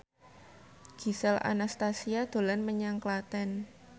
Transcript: Gisel Anastasia dolan menyang Klaten